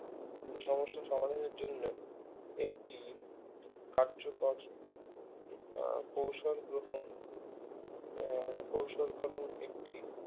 সমস্যা সমাধানের জন্য একটি কার্যকর আহ কৌশল গ্রহণ আহ কৌশল করণ একটি